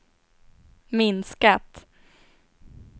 minskat